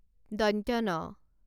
ণ